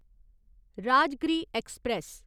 Rajgriha express